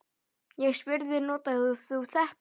Ég spurði: Notar þú þetta?